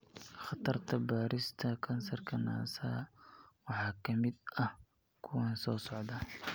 Khatarta baarista kansarka naasaha waxaa ka mid ah kuwan soo socda.